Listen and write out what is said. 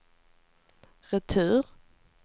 retur